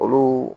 Olu